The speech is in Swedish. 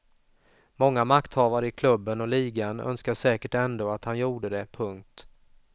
Många makthavare i klubben och ligan önskar säkert ändå att han gjorde det. punkt